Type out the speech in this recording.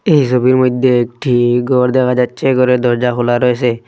এই সবির মধ্যে একটি ঘর দেখা যাচ্ছে ঘরের দরজা খোলা রয়েসে।